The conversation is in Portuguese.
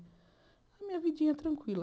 A minha vidinha é tranquila.